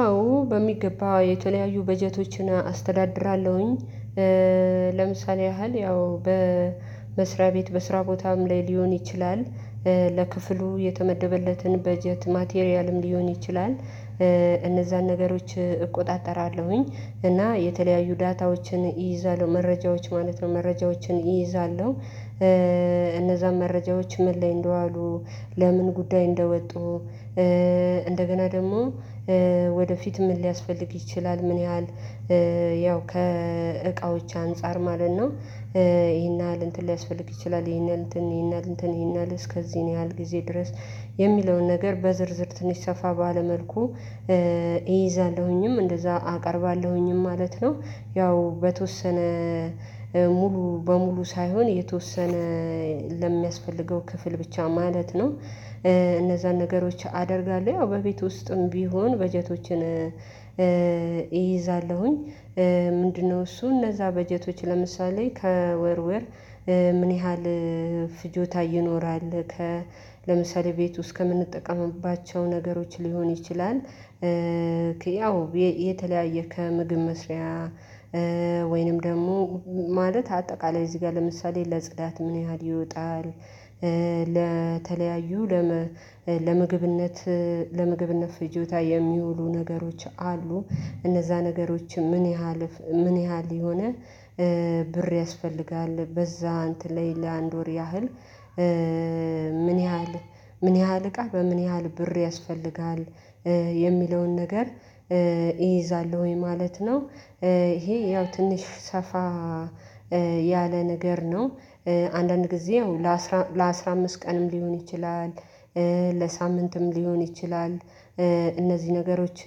አዎ በሚገባ የተለያዩ በጀቶችን አስተዳድራለሁኝ ለምሳሌ ያህል ያው በመስሪያ ቤት በስራ ቦታም ላይ ሊሆን ይችላል። ለክፍሉ የተመደበለትን በጀት ማቴሪያልም ሊሆን ይችላል። እነዛን ነገሮች እቆጣጠራለሁኝ እና የተለያዩ ዳታዎችን እይዛለሁ መረጃዎች ማለት ነው መረጃዎችን እይዛለሁ። መረጃዎች ምን ላይ እንደዋሉ? ለምን ጉዳይ እንደወጡ? እንደገና ደግሞ ወደፊት ምን ሊያስፈልግ ይችላል ምን ያህል? ያው ከእቃዎች አንፃር ማለት ነው። ይሄን ያህል እንትን ሊያስፈልግ ይችላል ይሄን ያህል እንትን ይሄን ያህል እስከዚህ ያህል ጊዜ ድረስ የሚለውን ነገር በዝርዝር ትንሽ ሰፋ ባለ መልኩ እይዛለሁኝም እንደዛ አቀርባለሁኝም ማለት ነው። ያው በተወሰነ ሙሉ በሙሉ ሳይሆን የተወሰነ ለሚያስፈልገው ክፍል ብቻ ማለት ነው። እነዛን ነገሮች አደርጋለሁ ያው በቤት ውስጥም ቢሆን በጀቶችን እይዛለሁኝ። ምንድነው? እሱ እነዛ በጀቶች ለምሳሌ ከወርወር ምን ያህል ፍጆታ ይኖራል? ለምሳሌ ቤት ውስጥ ከምንጠቀምባቸው ነገሮች ሊሆን ይችላል። ያው የተለያየ ከምግብ መስሪያ ወይንም ደግሞ ማለት አጠቃላይ እዚህ ጋር ለምሳሌ ለጽዳት ምን ያህል ይወጣል? ለተለያዩ ለምግብነት ለመግብነት ፍጆታ የሚውሉ ነገሮች አሉ። እነዛ ነገሮችም ምን ያህል ምን ያህል የሆነ ብር ያስፈልጋል በዛ እንትን ላይ ለአንድ ወር ያህል? ምን ያህል ምን ያህል እቃ በምን ያህል ብር ያስፈልጋል? የሚለውን ነገር እይዛለሁኝ ማለት ነው። ይሄ ያው ትንሽ ሰፋ ያለ ነገር ነው። አንዳንድ ጊዜ ለአስራ አምስት ቀንም ሊሆን ይችላል። ለሳምንትም ሊሆን ይችላል። እነዚህ ነገሮች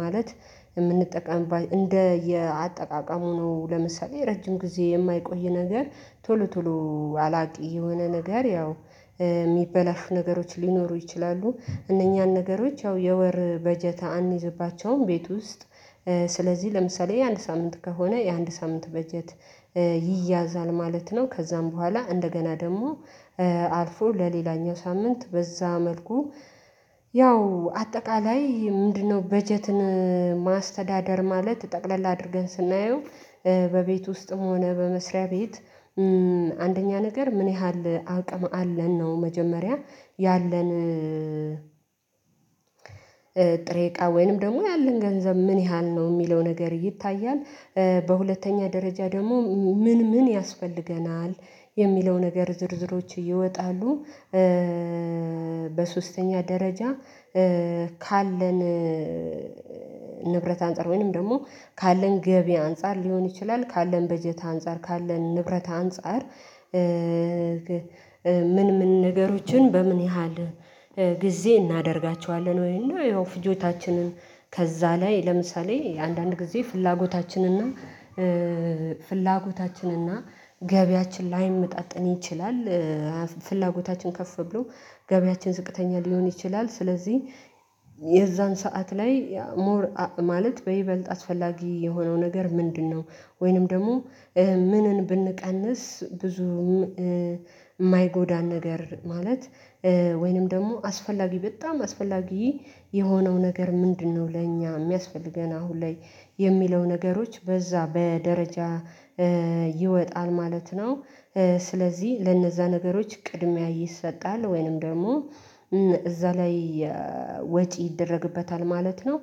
ማለት የምንጠቀም እንደየ አጠቃቀም ሆኖ ለምሳሌ ረጅም ጊዜ የማይቆይ ነገር ቶሎ ቶሎ አላቂ የሆነ ነገር ያው የሚበላሹ ነገሮች ሊኖሩ ይችላሉ። እነኛን ነገሮች ያው የወር በጀት አንይዝባቸውም ቤት ውስጥ ስለዚህ ለምሳሌ የአንድ ሳምንት ከሆነ የአንድ ሳምንት በጀት ይያዛል ማለት ነው። ከዛም በኋላ እንደገና ደግሞ አልፎ ለሌላኛው ሳምንት በዛ መልኩ። ያው አጠቃላይ ምንድነው በጀትን ማስተዳደር ማለት ጠቅለል አድርገን ስናየው። በቤት ውስጥም ሆነ በመስሪያ ቤት አንደኛ ነገር ምን ያህል አቅም አለን ነው መጀመሪያ ያለን ጥሬ እቃ ወይንም ደግሞ ያለን ገንዘብ ምን ያህል ነው የሚለው ነገር ይታያል። በሁለተኛ ደረጃ ደግሞ ምን ምን ያስፈልገናል? የሚለው ነገር ዝርዝሮች ይወጣሉ። በሶስተኛ ደረጃ ካለን ንብረት አንፃር ወይንም ደግሞ ካለን ገቢ አንፃር ሊሆን ይችላል ካለን በጀት አንፃር ካለን ንብረት አንፃር። ምን ምን ነገሮችን በምን ያህል ጊዜ እናደርጋቸዋለን። ወይንም ያው ፍጆታችንን ከዛ ላይ ለምሳሌ አንዳንድ ጊዜ ፍላጎታችንና ፍላጎታችንና ገብያችን ላይመጣጠን ይችላል። ፍላጎታችን ከፍ ብሎ ገበያችን ዝቅተኛ ሊሆን ይችላል። ስለዚህ የዛን ሰዓት ላይ ሞር ማለት በይበልጥ አስፈላጊ የሆነው ነገር ምንድነው? ወይንም ደግሞ ምንን ብንቀንስ ብዙም የማይጎዳን ነገር ማለት ወይንም ደግሞ አስፈላጊ በጣም አስፈላጊ የሆነው ነገር ምንድነው? ለእኛ የሚያስፈልገን አሁን ላይ የሚለው ነገሮች በዛ በደረጃ ይወጣል ማለት ነው። ስለዚህ ለነዛ ነገሮች ቅድሚያ ይሰጣል ወይንም ደግሞ እዛ ላይ ወጪ ይደረግበታል ማለት ነው።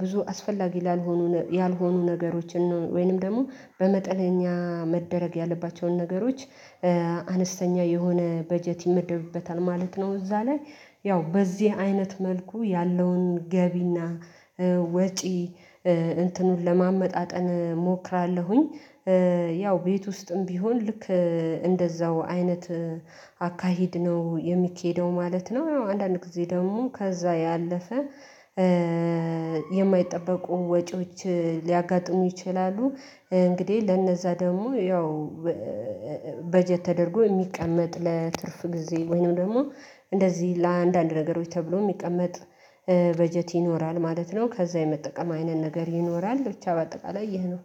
ብዙ አስፈላጊ ላልሆኑ ያልሆኑ ነገሮችን ወይንም ደግሞ በመጠነኛ መደረግ ያለባቸውን ነገሮች አነስተኛ የሆነ በጀት ይመደብበታል ማለት ነው። እዛ ላይ ያው በዚህ አይነት መልኩ ያለውን ገቢና ወጪ እንትኑን ለማመጣጠን እሞክራለሁኝ። ያው ቤት ውስጥም ቢሆን ልክ እንደዛው አይነት አካሄድ ነው የሚኬደው ማለት ነው። አንዳንድ ጊዜ ደግሞ ከዛ ያለፈ የማይጠበቁ ወጪዎች ሊያጋጥሙ ይችላሉ። እንግዲህ ለነዛ ደግሞ ያው በጀት ተደርጎ የሚቀመጥ ለትርፍ ጊዜ ወይንም ደግሞ እንደዚህ ለአንዳንድ ነገሮች ተብሎ የሚቀመጥ በጀት ይኖራል ማለት ነው። ከዛ የመጠቀም አይነት ነገር ይኖራል ብቻ በአጠቃላይ ይህ ነው